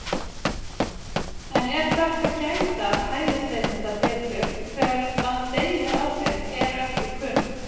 En er þarft að gæta hælisleitenda betur þegar að deili á þeim eru ekki kunn?